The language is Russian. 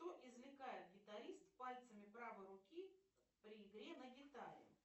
что извлекает гитарист пальцами правой руки при игре на гитаре